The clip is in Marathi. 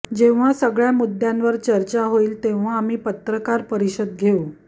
जेव्हा सगळ्या मुद्दयांवर चर्चा होईल तेव्हा आम्ही पत्रकार परिषद घेऊ